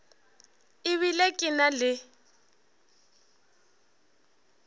e bile ke na le